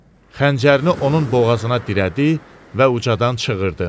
Xəncərini onun boğazına dirədi və ucadan çığırdı.